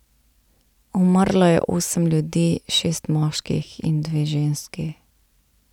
Umrlo je osem ljudi, šest moških in dve ženski.